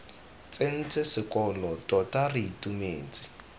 tsentse sekolo tota re itumetse